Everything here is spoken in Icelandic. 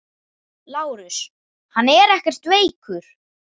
LÁRUS: Hann er ekkert veikur.